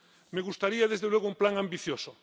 Me gustaría, desde luego, un plan ambicioso